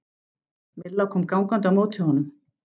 Milla kom gangandi á móti honum.